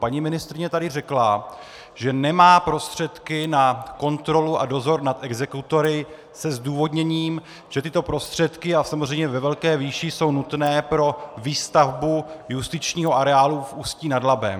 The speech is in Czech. Paní ministryně tady řekla, že nemá prostředky na kontrolu a dozor nad exekutory se zdůvodněním, že tyto prostředky - a samozřejmě ve velké výši - jsou nutné pro výstavbu justičního areálu v Ústí nad Labem.